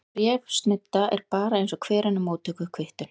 Þessi bréfsnudda er bara eins og hver önnur móttökukvittun.